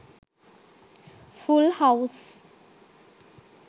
full house